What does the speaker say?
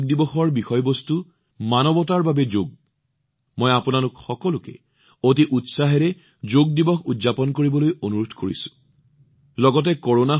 এইবাৰ যোগ দিৱসৰ বিষয়বস্তু হৈছে মানৱতাৰ বাবে যোগ মই আপোনালোক সকলোকে অতি উৎসাহেৰে যোগ দিৱস উদযাপন কৰিবলৈ অনুৰোধ কৰিম